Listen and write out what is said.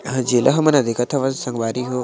जेला हमन ह देखत हवन संगवारी हो ।